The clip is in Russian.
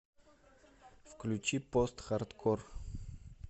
включи постхардкор